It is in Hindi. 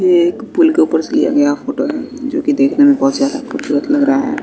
ये एक पूल के ऊपर से लिया गया फोटो है जोकि देखने में बहोत ही ज्यादा खूबसूरत लग रहा है।